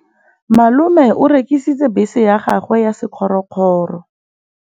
Malome o rekisitse bese ya gagwe ya sekgorokgoro.